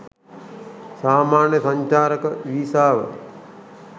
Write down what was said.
සාමාන්‍ය සංචාරක වීසාව